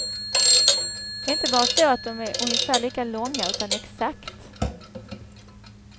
Det är inte bara så att de är ungefär lika långa, utan exakt.